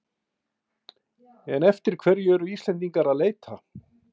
En eftir hverju eru Íslendingar að leita?